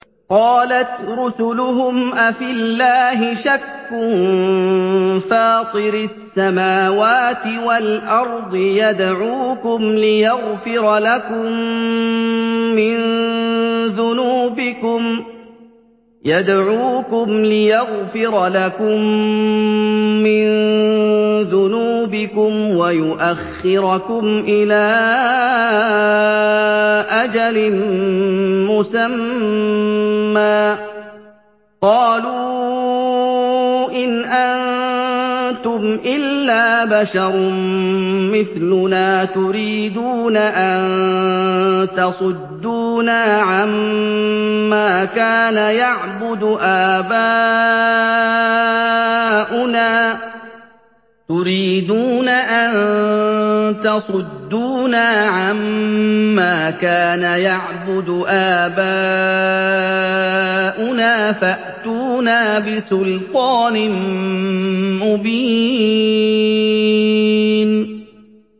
۞ قَالَتْ رُسُلُهُمْ أَفِي اللَّهِ شَكٌّ فَاطِرِ السَّمَاوَاتِ وَالْأَرْضِ ۖ يَدْعُوكُمْ لِيَغْفِرَ لَكُم مِّن ذُنُوبِكُمْ وَيُؤَخِّرَكُمْ إِلَىٰ أَجَلٍ مُّسَمًّى ۚ قَالُوا إِنْ أَنتُمْ إِلَّا بَشَرٌ مِّثْلُنَا تُرِيدُونَ أَن تَصُدُّونَا عَمَّا كَانَ يَعْبُدُ آبَاؤُنَا فَأْتُونَا بِسُلْطَانٍ مُّبِينٍ